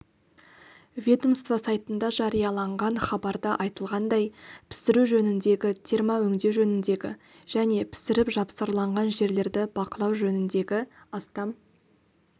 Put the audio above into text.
ведомство сайтында жарияланған хабарда айтылғандай пісіру жөніндегі термоөңдеу жөніндегі және пісіріп жапсарланған жерлерді бақылау жөніндегі астам